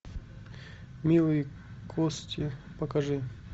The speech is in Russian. милые кости покажи